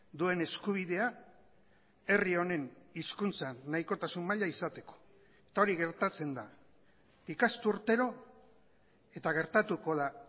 duen eskubidea herri honen hizkuntzan nahikotasun maila izateko eta hori gertatzen da ikasturtero eta gertatuko da